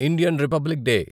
Indian Republic day